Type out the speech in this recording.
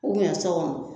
so kɔnɔ